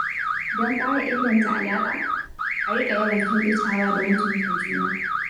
Don ƙara inganta alaƙa, a riƙa yawan kyautatawa da mutunta juna.